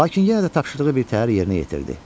Lakin yenə də tapşırığı birtəhər yerinə yetirdi.